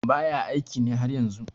baya aiki ne har yanzu